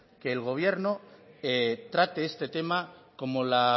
que el gobierno trate este tema como la